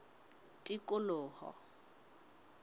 tikoloho